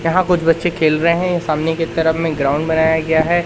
यहां कुछ बच्चे खेल रहे हैं ये सामने की तरफ में ग्राउंड बनाया गया है।